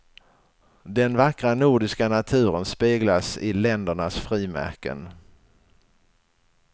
Den vackra nordiska naturen speglas i ländernas frimärken.